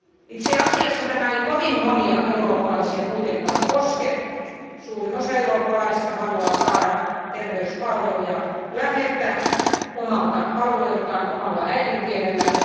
Itse asiassa tämä ei kovin monia eurooppalaisia kuitenkaan koske, suurin osa eurooppalaisista haluaa saada terveyspalveluja läheltä omalta alueeltaan ja omalla äidinkielellään.